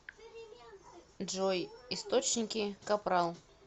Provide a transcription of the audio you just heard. джой источники капрал